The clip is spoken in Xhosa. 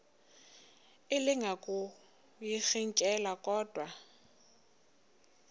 elinga ukuyirintyela kodwa